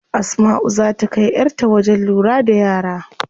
Asmau zaa ta kai yar ta wajen lura da yara.